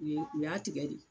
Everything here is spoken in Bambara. U ye u y'a tigɛ de